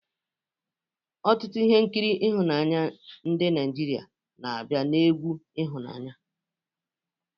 Ọtụtụ ihe nkiri ịhụnanya ndị Naijiria na-abịa na egwu ịhụnanya